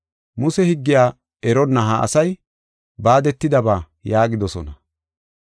Muse higgiya eronna ha asay baadetidaysata” yaagidosona.